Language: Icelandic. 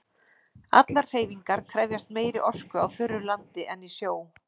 Allar hreyfingar krefjast meiri orku á þurru landi en í sjó.